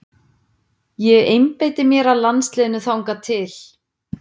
Ég einbeiti mér að landsliðinu þangað til.